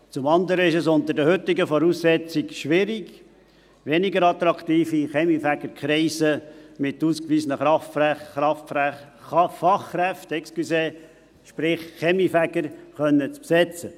Zum anderen ist es unter den heutigen Voraussetzungen schwierig, weniger attraktive Kaminfegerkreise mit ausgewiesenen Fachkräften, sprich Kaminfegern, zu besetzen.